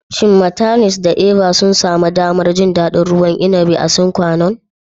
Shin "Martineliss" da "Eva" sun sami damar jin daɗin ruwan inabi a Sine Qua Non?